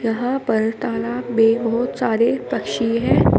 यहां पर तालाब में बहोत सारे पक्षी है।